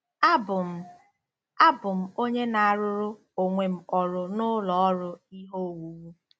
“Abụ m “Abụ m onye na-arụrụ onwe m ọrụ n'ụlọ ọrụ ihe owuwu.